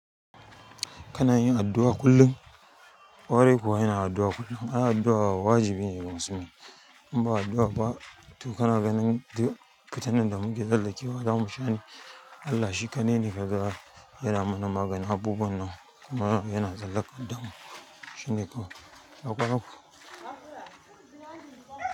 Kana yin addu'a kullum, ƙwarai kuwa ina addu'a kullum. Ana addu'a wa wajibi ne ga musulmi. In ba addu'a ba, to kana ganin duk fitunin da muke zallakewa zamu sha ne? Allah shi kaɗai ne ke da yara mana magani abubuwan nan. Mura yana zallaka damu. Shine kuwa, ina kwa nan ku.